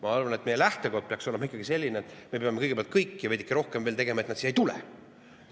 Ma arvan, et meie lähtekoht peaks olema ikkagi selline, et me peame kõigepealt veel rohkem tegema, et nad siia ei tuleks.